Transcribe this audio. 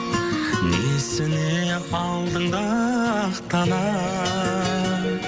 несіне алдыңда ақталам